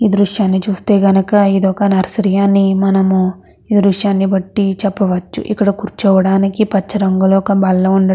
ఈ దృశ్యాన్ని చూస్తే గనుక ఇది ఒక నర్సరీ అని మనము ఈ దృశ్యాన్ని బట్టి చెప్పవచ్చు. ఇక్కడ కూర్చోవడానికి ఒక పచ్చ రంగులో ఒక బల్ల ఉండడం--